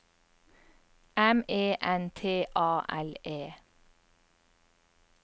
M E N T A L E